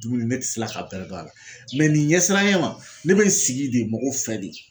Dumuni ne tɛ se la ka bɛrɛ dun a la nin ɲɛsiranya ma ne bɛ n sigi de mɔgɔ fɛ de.